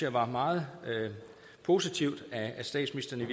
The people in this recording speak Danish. var meget positivt at statsministeren